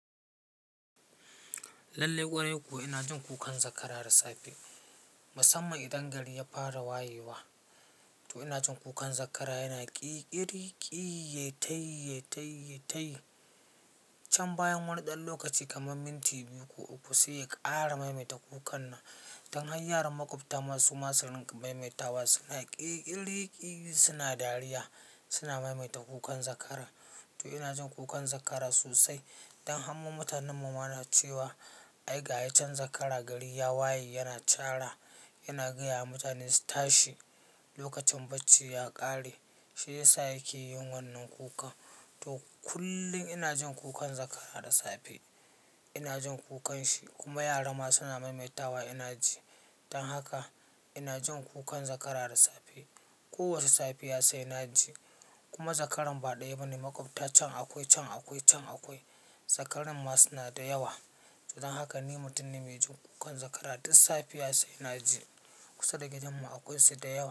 Lallai ƙwarai kuwa ina jin kukan zakara da safe. Musamman idan gari ya fara wayewa, to ina jin kukan zakara yana ƙiƙiri, ƙiyyetaiyyetaiyyetai. Can bayan wani ɗan lokaci kamar minti biyu ko uku sai ya ƙara maimaita kukan nan. Dan har yaran maƙwabta suma su dinga maimaita wa suna ƙiƙiriƙi suna dariya suna maimaita kukan zakara. To ina jin kukan zakara sosai. Dan har mutanen mu ma na cewa ai ga a can zakara gari ya waye yana cara yana gaya wa mutane su tashi lokacin bacci ya ƙare. Shi ya sa yake yin wannan kuka. To kullum ina jin kukan zakara da safe. Ina jin kukanshi kuma yara ma suna maimaita wa ina ji. Dan haka ina jin kukan zakara da safe. Ko wace safiya sai na ji. Kuma zakaran ba ɗaya ba ne. Maƙwabta can akwai can akwai can akwai. Zakaran ma suna da yawa. Dan haka ni mutum na mai jin kukan zakara duk safiya sai na ji. Kusa da gidanmu akwai su da yawa.